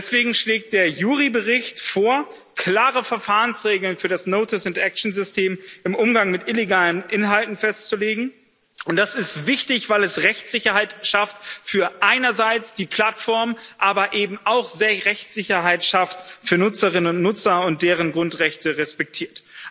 Deswegen schlägt der JURI-Bericht vor, klare Verfahrensregeln für das Notice-and-Action —System im Umgang mit illegalen Inhalten festzulegen. Das ist wichtig, weil es Rechtssicherheit schafft einerseits für die Plattformen, aber eben auch Rechtssicherheit schafft für Nutzerinnen und Nutzer und deren Grundrechte respektiert.